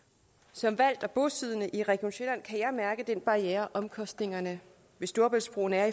som valgt og bosiddende i region sjælland kan jeg mærke den barriere omkostningerne ved storebæltsbroen er